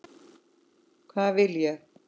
Hvað vil ég?